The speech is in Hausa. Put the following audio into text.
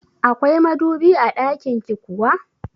Akwai madubi a ɗakinki kuwa?